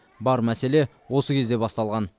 бар мәселе осы кезде басталған